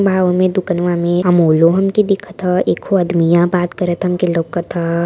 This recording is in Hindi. मॉल में दुकनवा में अमोल हमके दिखत ह एकको आदमिया बात करत हमके लउकता ह।